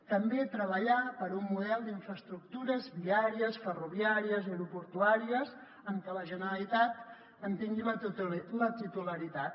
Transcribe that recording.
també treballar per un model d’infraestructures viàries ferroviàries aeroportuàries en què la generalitat en tingui la titularitat